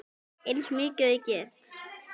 Eins mikið og ég get.